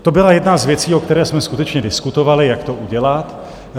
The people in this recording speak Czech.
To byla jedna z věcí, o které jsme skutečně diskutovali, jak to udělat.